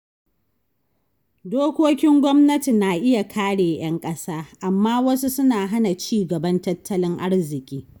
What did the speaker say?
Dokokin gwamnati na iya kare ‘yan kasa, amma wasu suna hana ci gaban tattalin arziki.